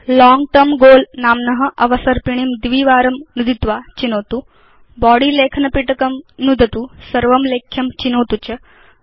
लोंग term goal नाम्न अवसर्पिणीं द्विवारं नुदित्वा चिनोतु बॉडी लेखनपिटकं नुदतु सर्वं लेख्यं चिनोतु च